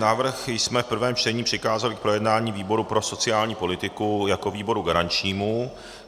Návrh jsme v prvém čtení přikázali k projednání výboru pro sociální politiku jako výboru garančnímu.